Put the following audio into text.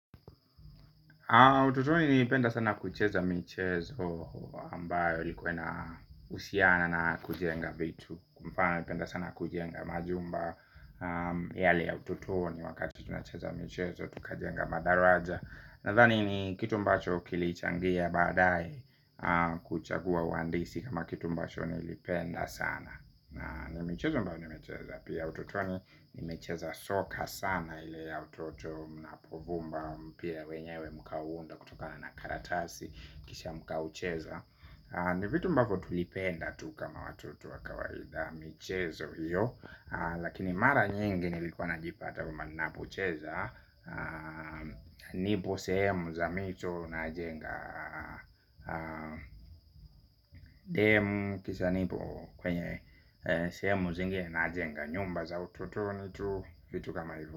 Utotoni nilipenda sana kucheza michezo ambayo ilikuwa inahusiana na kujenga vitu. Kwa mfano nilipenda sana kujenga majumba yale ya utotoni wakati tunacheza michezo tukajenga madaraja. Nadhani ni kitu ambacho kilichangia baadaye kuchagua uhandisi kama kitu ambacho nilipenda sana. Na ni mchezo ambao nimecheza. Pia utotoni nimecheza soka sana. Ile ya utoto napovumba mpira wenyewe mkauunda kutokana na karatasi. Kisha mkaucheza. Ni vitu ambavyo tulipenda tu kama watoto wa kawaida. Michezo hiyo lakini mara nyingi nilikuwa najipata kwamba ninapocheza nipo sehemu za mito najenga temu kisha nipo kwenye sehemu zingine najenga nyumba za utotoni tu vitu kama hivo.